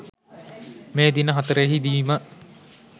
මේ දින හතරෙහිදීම